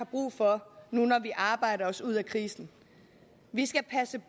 brug for nu når vi arbejder os ud af krisen vi skal passe